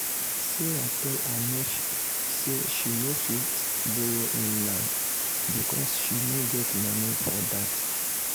sarah tell her nephew say she no fit borrow him now because she no get money for that.